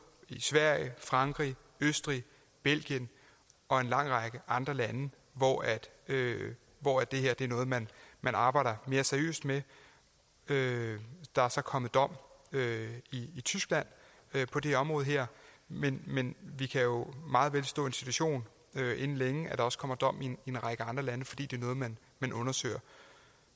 i sverige frankrig østrig belgien og en lang række andre lande hvor det her er noget man arbejder mere seriøst med der er så kommet dom i tyskland på det område her men men vi kan jo meget vel stå i en situation inden længe at der også kommer dom i en række andre lande fordi det er noget man man undersøger